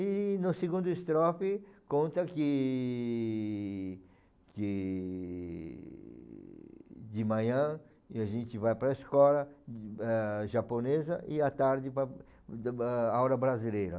E no segunda estrofe conta que que de manhã e a gente vai para a escola, ãh, japonesa e à tarde para a aula brasileira.